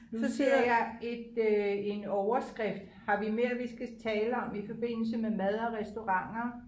Nu ser jeg et øh en overskrift har vi mere vi skal tale om i forbindelse med mad og restauranter